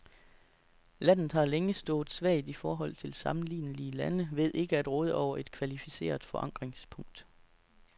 Landet har længe stået svagt i forhold til sammenlignelige lande ved ikke at råde over et kvalificeret forankringspunkt.